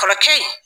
Kɔrɔkɛ in